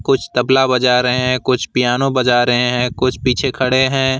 कुछ तबला बजा रहे हैं कुछ पियानो बजा रहे है कुछ पीछे खड़े हैं।